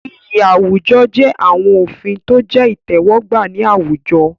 Iyì àwùjọ jẹ́ àwọn òfin tó jẹ́ ìtẹ́wọ́gbà ní àwùjọ.